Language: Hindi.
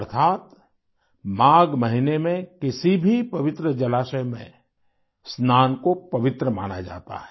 अर्थात माघ महीने में किसी भी पवित्र जलाशय में स्नान को पवित्र माना जाता है